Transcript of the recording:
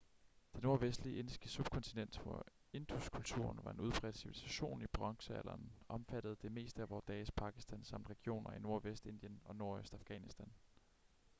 det nordvestlige indiske subkontinent hvor induskulturen var en udbredt civilisation i bronzealderen omfattede det meste af vore dages pakistan samt regioner i nordvest indien og nordøst afghanistan